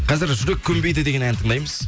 қазір жүрек көнбейді деген ән тыңдаймыз